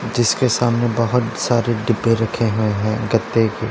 जिसके सामने बहोत सारे डिब्बे रखे हुए है गत्ते के--